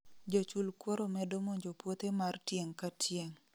jo chul kuoro medo monjo puothe mar tieng' ka tieng